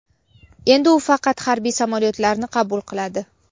Endi u faqat harbiy samolyotlarni qabul qiladi.